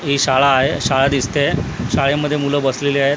ही शाळा आहे शाळा दिसते आहे शाळेमध्ये मुलं बसलेली आहेत.